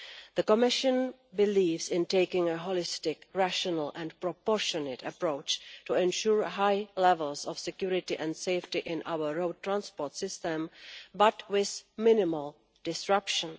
The Commission believes in taking a holistic, rational and proportional approach in order to ensure high levels of security and safety in our road transport system, but with minimal disruption.